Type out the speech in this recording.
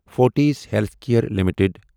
Fortis healthcare limited